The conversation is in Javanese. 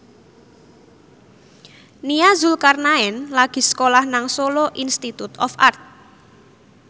Nia Zulkarnaen lagi sekolah nang Solo Institute of Art